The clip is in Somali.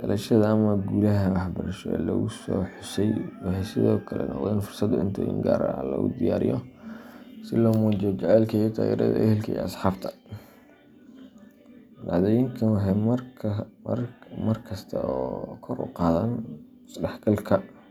dhalashada ama guulaha waxbarasho ee la xuso waxay sidoo kale noqdaan fursad cuntooyin gaar ah lagu diyaariyo, si loo muujiyo jacaylka iyo taageerada ehelka iyo asxaabta. Dhacdooyinkani waxay markasta kor u qaadaan isdhexgalka.